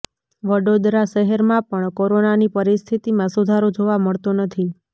વડોદરા શહેરમાં પણ કોરોનાની પરિસ્થિતિમાં સુધારો જોવા મળતો નથી